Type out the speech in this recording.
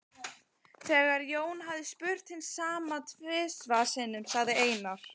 Þegar Jón hafði spurt hins sama tvisvar sinnum sagði Einar